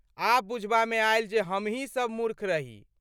आब बुझबामे आयल जे हमहीं सब मूर्ख रही।